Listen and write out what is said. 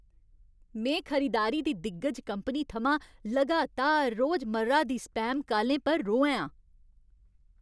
में खरीदारी दी दिग्गज कंपनी थमां लगातार रोजमर्रा दी स्पैम कालें पर रोहैं आं।